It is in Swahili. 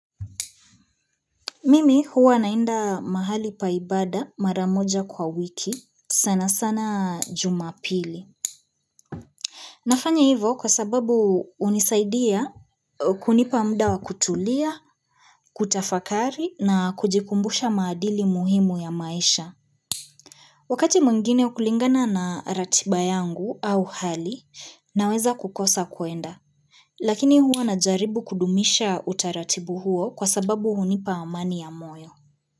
Mimi huwa naenda mahali pa ibada mara moja kwa wiki sana sana jumapili. Nafanya hivo kwa sababu hunisaidia kunipa mda wa kutulia, kutafakari na kujikumbusha maadili muhimu ya maisha. Wakati mwingine kulingana na ratiba yangu au hali naweza kukosa kuenda lakini huwa najaribu kudumisha utaratibu huo kwa sababu hunipa amani ya moyo.